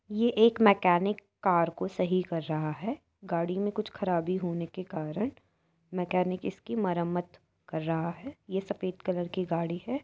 ये एक mechanic car को सही कर रहा है। गाड़ी में कुछ खराबी होने के कारण मैकेनिक इसकी मरम्मत कर रहा है। ये सफेद कलर की गाड़ी है।